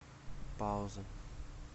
пауза